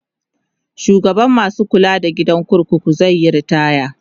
shugaban masu kula da gidan kurkuku zaiyi ritaya